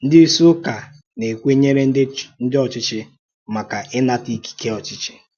Ndị ìsì ụ́kà na-èkwènyèrè ndị ọ́chịchì, maka ínàtà ikìké ọ́chịchì.